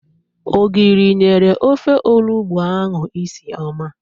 Ogiri nyere ofe olugbo ahụ isi ọma.